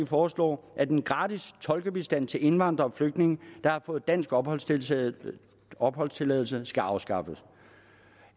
foreslår at den gratis tolkebistand til indvandrere og flygtninge der har fået dansk opholdstilladelse opholdstilladelse skal afskaffes